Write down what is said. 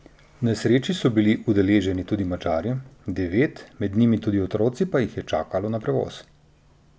V nesreči so bili udeleženi tudi Madžari, devet, med njimi tudi otroci, pa jih je čakalo na prevoz.